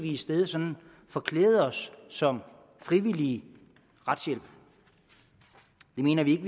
i stedet sådan forklæde os som frivillige retshjælpere det mener vi ikke